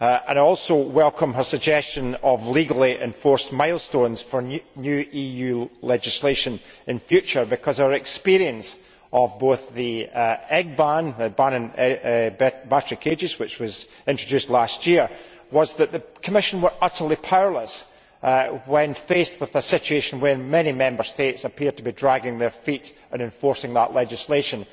I also welcome her suggestion of legally enforced milestones for new EU legislation in the future, because our experience of both the egg ban and the ban on battery cages, which was introduced last year, was that the Commission was utterly powerless when faced with a situation where many Member States appeared to be dragging their feet in enforcing that legislation.